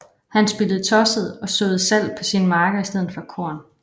Han spillede tosset og såede salt på sine marker i stedet for korn